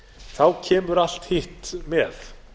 þá kemur allt hitt með